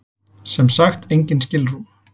Sem sagt engin skilrúm.